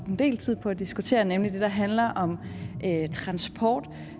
en del tid på at diskutere nemlig den der handler om transport